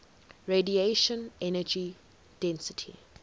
radiation energy density